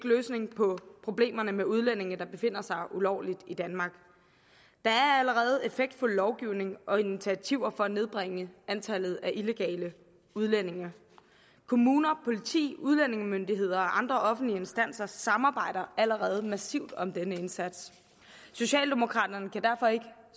løsning på problemerne med udlændinge der befinder sig ulovligt i danmark der er allerede effektfuld lovgivning og initiativer for at nedbringe antallet af illegale udlændinge kommuner politi udlændingemyndigheder og andre offentlige instanser samarbejder allerede massivt om denne indsats socialdemokraterne kan derfor ikke